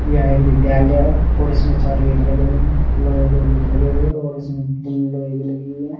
यह एक विद्यालय है और इसमें चार गेट लगे हुए हैं। लोहे के गेट लगे हुए हैं और इसमें ग्रिल लोहे की लगी हुई है।